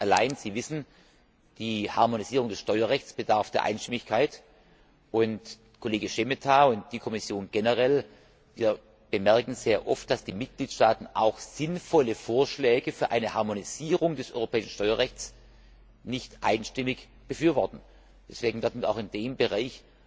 Allein, Sie wissen, die Harmonisierung des Steuerrechts bedarf der Einstimmigkeit, und Kollege Šemeta und die Kommission generell bemerken sehr oft, dass die Mitgliedstaaten auch sinnvolle Vorschläge für eine Harmonisierung des europäischen Steuerrechts nicht einstimmig befürworten. Deswegen werden wir auch in diesem Bereich